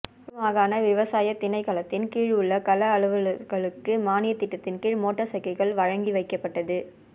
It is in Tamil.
வடமாகாண விவசாயத் திணைக்களத்தின் கீழுள்ள கள அலுவலர்களுக்கு மானியத்திட்டத்தின் கீழ் மோட்டார் சைக்கிள்கள் வழங்கிவைக்கப்பட்டது